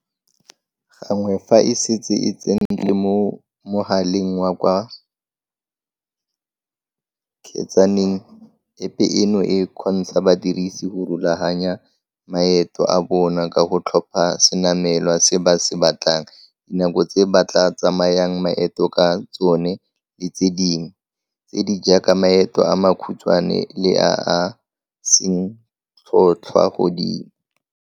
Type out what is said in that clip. Gangwe fa e setse e tsentswe mo mogaleng wa ka fa kgetsaneng, App eno e kgontsha badirisi go rulaganya maeto a bona ka go tlhopha senamelwa se ba se batlang, dinako tse ba tla tsayang maeto ka tsone le tse dingwe, tse di jaaka maeto a makhutshwane le a a seng tlhotlhwa godimo.